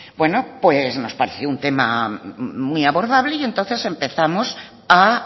bueno pues nos pareció un tema muy abordable y entonces empezamos a